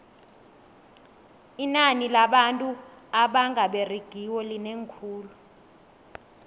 inani labantu abanga beregiko linengi khulu